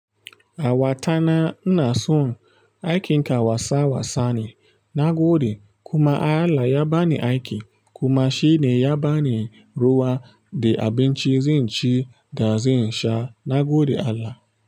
Awatana ina son aikinka wasa wasa ne na gode kuma Allah ya bani aiki kuma shi ne ya bani ruwa de abinci zen ci da zan sha. Na gode Allah.